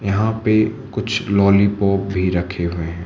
यहां पे कुछ लॉलीपॉप भी रखे हुए हैं।